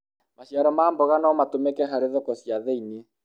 maciaro ma mboga no matũmĩke harĩ thoko cia thĩiniĩ